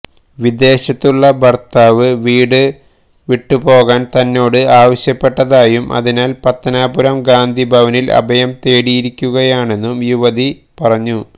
വിദേശത്തുള്ള ഭര്ത്താവ് വീട് വിട്ടുപോകാന് തന്നോട് ആവശ്യപ്പെട്ടതായും അതിനാല് പത്തനാപുരം ഗാന്ധിഭവനില് അഭയം തേടിയിരിക്കുകയാണെന്നും യുവതി പറഞ്ഞു